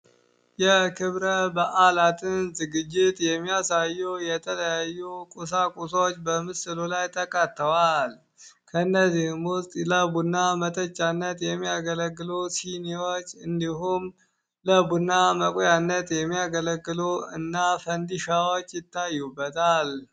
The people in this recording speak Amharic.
የክብረ በዓላትን ዝግጅት የሚያሳዩ የተለያዩ ቁሳ ቁሶዎች በምስሉ ላይ ተካተዋል ከእነዚህምውስጥ ለቡና መተቻነት የሚያገለግሉ ሲኒዎች እንዲሁም ለቡና መቁያነት የሚያገለግሉ እና ፈንዲሻዎች ይታዩበታል፡፡